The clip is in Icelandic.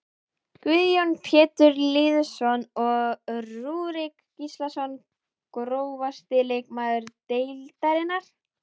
Guðjón Pétur Lýðsson og Rúrik Gíslason Grófasti leikmaður deildarinnar?